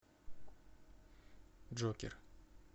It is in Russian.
джокер